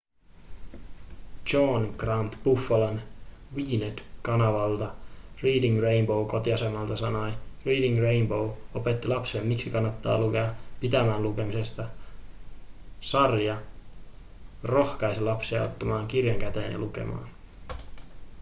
john grant buffalon wned-kanavalta reading rainbow'n kotiasemalta sanoi: reading rainbow opetti lapsille miksi kannattaa lukea –– pitämään lukemisesta – [sarja] rohkaisi lapsia ottamaan kirjan käteen ja lukemaan.